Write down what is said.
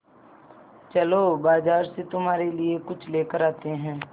चलो बाज़ार से तुम्हारे लिए कुछ लेकर आते हैं